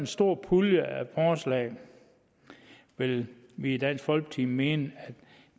stor pulje af forslag vil vi i dansk folkeparti mene at